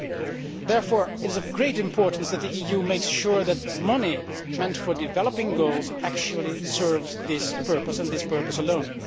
It is therefore of great importance that the EU makes sure that money meant for development goals actually serves this purpose and this purpose alone.